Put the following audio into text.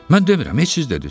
Mən demirəm, siz dediniz.